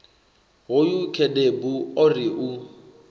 hoyu khedebu o ri u